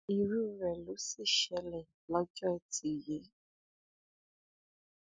irú rẹ ló sì ṣẹlẹ lọjọ etí yìí